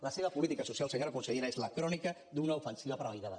la seva política social senyora consellera és la crònica d’una ofensiva premeditada